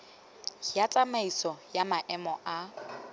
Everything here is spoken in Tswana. ya tsamaisano ya maemo a